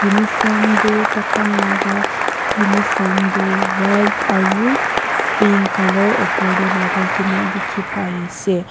uniform toh tai khan laga uniform toh white aru pink colour opor tae lagai kena dekhi paiase.